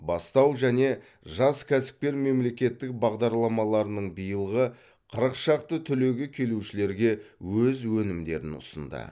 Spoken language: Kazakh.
бастау және жас кәсіпкер мемлекеттік бағдарламаларының биылғы қырық шақты түлегі келушілерге өз өнімдерін ұсынды